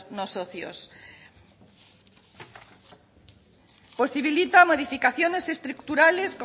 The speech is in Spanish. no socios posibilita modificaciones estructurales